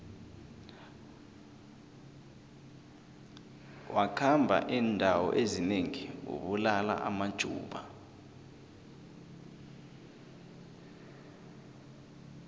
wakhamba indawo ezinengi abulala amajuda